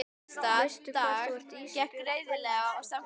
Veistu hvar þú ert Ísbjörg Guðmundsdóttir?